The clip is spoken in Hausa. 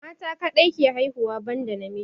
Mata kadai ke haihuwa ban da namiji